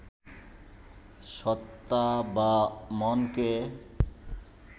সত্তা বা মনকে